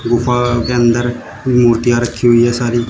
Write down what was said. गुफा के अंदर मूर्तियां रखी हुई है सारी।